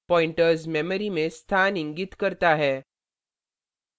pointers memory में स्थान इंगित करता है